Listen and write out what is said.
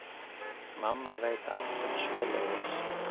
Mamma veit allt um svoleiðis.